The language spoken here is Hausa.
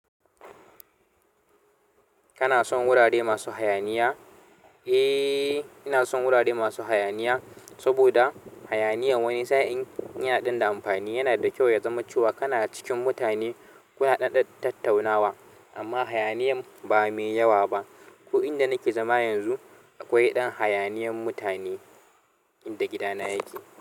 Kana son wurare masu hayaniya? Eh, ina son wurare masu hayaniya, saboda hayaniya wani sa'in yana dan da amfani. Yana da kyau ya zama cewa kana cikin mutane kuna ɗaɗɗan tattaunawa, amma hayaniyan ba mai yawa ba. Ko inda nake zama yanzu, akwai ɗan hayaniyan mutane inda gidana yake.